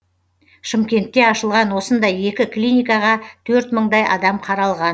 шымкентте ашылған осындай екі клиникаға төрт мыңдай адам қаралған